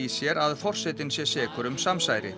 sér að forsetinn sé sekur um samsæri